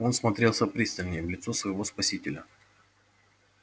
он всмотрелся пристальней в лицо своего спасителя